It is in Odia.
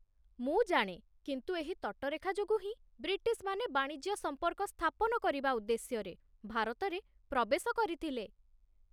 ମୁଁ ଜାଣେ, କିନ୍ତୁ ଏହି ତଟରେଖା ଯୋଗୁଁ ହିଁ ବ୍ରିଟିଶମାନେ ବାଣିଜ୍ୟ ସମ୍ପର୍କ ସ୍ଥାପନକରିବା ଉଦ୍ଦେଶ୍ୟରେ ଭାରତରେ ପ୍ରବେଶ କରିଥିଲେ